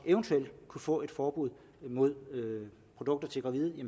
kunne få et forbud mod produkter til gravide